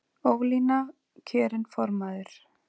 Ólína kjörin formaður